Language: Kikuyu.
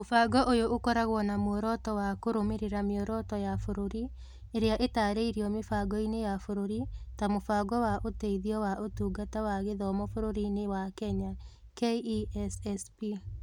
Mũbango ũyũ ũkoragwo na muoroto wa kũrũmĩrĩra mĩoroto ya bũrũri ĩrĩa ĩtaarĩirio mĩbangoinĩ ya bũrũri ta Mũbango wa Ũteithio wa Ũtungata wa Gĩthomo bũrũriĩnĩ wa Kenya (KESSP).